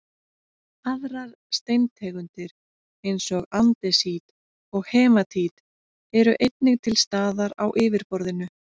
aðrar steintegundir eins og andesít og hematít eru einnig til staðar á yfirborðinu